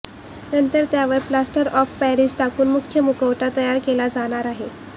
नंतर त्यावर plaster of Paris टाकून मुख्य मुखवटा तयार केला जाणार आहे